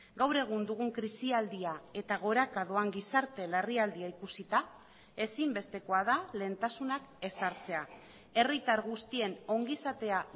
gaur egun dugun krisialdia eta goraka doan gizarte larrialdia ikusita ezinbestekoa da lehentasunak ezartzea herritar guztien ongizatea